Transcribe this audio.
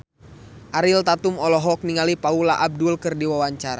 Ariel Tatum olohok ningali Paula Abdul keur diwawancara